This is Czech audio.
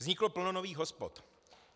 Vzniklo plno nových hospod.